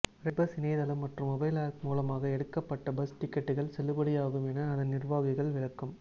red bus இணையதளம் மற்றும் mobile app மூலமாக எடுக்கப்பட்ட பஸ் டிக்கெட்டுகள் செல்லுபடியாகும் என அதன் நிர்வாகிகள் விளக்கம்